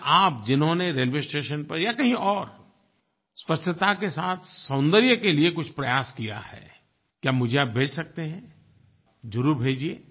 क्या आप जिन्होंने रेलवे स्टेशन पर या कहीं और स्वच्छता के साथ सौन्दर्य के लिए कुछ प्रयास किया है क्या मुझे आप भेज सकते हैं ज़रूर भेजिए